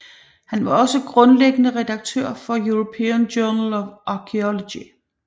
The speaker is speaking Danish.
Han var også grundlæggende redaktør på European Journal of Archaeology